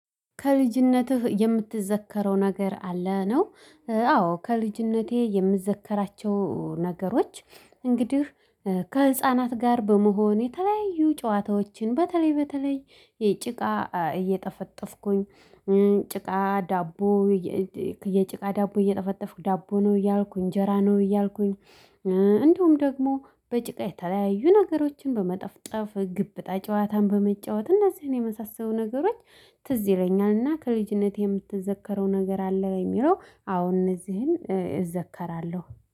ከልጅነትህ የምትዘከረው ነገር አለ? ነው አዎ ከልጅነቴ የምዘከራቸው ነገሮች እንግዲህ ከህፃናት ጋር በመሆን የተለያዩ ጨዋታዎችን በተለይ በተለይ የጭቃ እየጠፈጠፍኩኝ ጭቃ ዳቦ የጭቃ ዳቦ እየጠፈጠፍኩ ዳቦ ነው እያልኩኝ እጀራ ነው እያልኩኝ እንደውም ደግሞ በጭቃ የተለያዩ ነገሮችን በመጠፍጠፍ ግብጣ ጨዋታን በመጫወት እነዚህን የመሳሰሉ ነገሮች ትዝ ይለኛልና ከልጅነቴ የምትዘከረው ነገር አለ? በሚለው አሁን እነዚህን እዘከራለሁ።